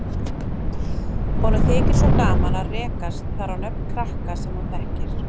Honum þykir svo gaman að rekast þar á nöfn krakka sem hann þekkir.